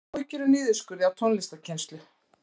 Áhyggjur af niðurskurði á tónlistarkennslu